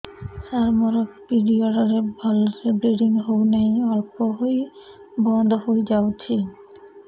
ସାର ମୋର ପିରିଅଡ଼ ରେ ଭଲରେ ବ୍ଲିଡ଼ିଙ୍ଗ ହଉନାହିଁ ଅଳ୍ପ ହୋଇ ବନ୍ଦ ହୋଇଯାଉଛି